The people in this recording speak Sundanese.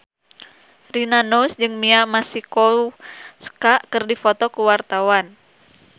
Rina Nose jeung Mia Masikowska keur dipoto ku wartawan